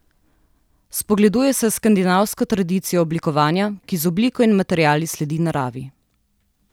Spogleduje se s skandinavsko tradicijo oblikovanja, ki z obliko in materiali sledi naravi.